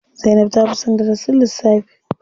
Zainab ta fi son darasin lissafi.